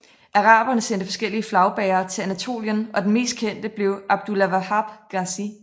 Araberne sendte forskellige flagbærer til Anatolien og den mest kendte blev Abdulvahap Gazi